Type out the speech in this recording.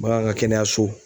Bagan ka kɛnɛyaso